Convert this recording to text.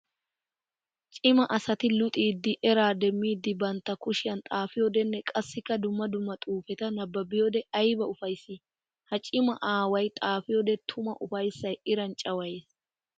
Cimaa asati luxiddi eraa demiddi bantta kushiyan xaafiyodenne qassikka dumma dumma xuufeta nabbabiyode ayba ufayssi! Ha cima aaway xaafiyode tuma ufayssay iran cawayees!